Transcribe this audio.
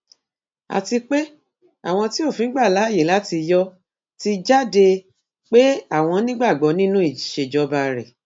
àti pé àwọn tí òfin gbà láàyè láti yọ ọ ti jáde pé àwọn nígbàgbọ nínú ìṣèjọba rẹ